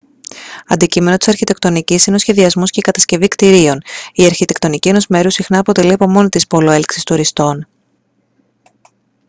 αντικείμενο της αρχιτεκτονικής είναι ο σχεδιασμός και η κατασκευή κτιρίων η αρχιτεκτονική ενός μέρους συχνά αποτελεί από μόνη της πόλο έλξης τουριστών